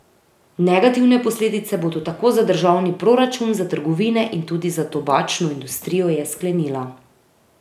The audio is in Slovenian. Negativne posledice bodo tako za državni proračun, za trgovine in tudi za tobačno industrijo, je sklenila.